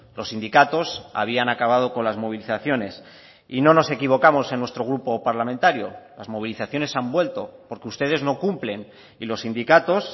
los sindicatos habían acabado con las movilizaciones y no nos equivocamos en nuestro grupo parlamentario las movilizaciones han vuelto porque ustedes no cumplen y los sindicatos